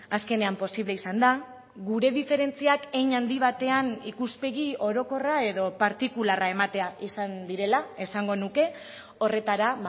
azkenean posible izan da gure diferentziak hein handi batean ikuspegi orokorra edo partikularra ematea izan direla esango nuke horretara